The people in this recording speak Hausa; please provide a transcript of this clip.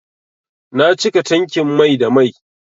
Na cika tankin mai da mai.